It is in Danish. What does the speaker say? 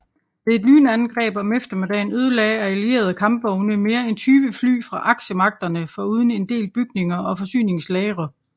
Ved et lynangreb om eftermiddagen ødelagde allierede kampvogne mere end 20 fly fra aksemagterne foruden en del bygninger og forsyningslagre